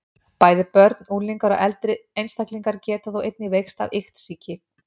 Bæði börn, unglingar og eldri einstaklingar geta þó einnig veikst af iktsýki.